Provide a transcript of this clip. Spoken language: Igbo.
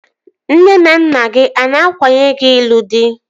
Nne na nna gị a na-akwanye gị n'ịlụ dị?